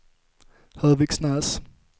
Höviksnäs